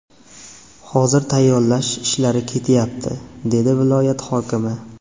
Hozir tayyorlash ishlari ketyapti”, – dedi viloyat hokimi.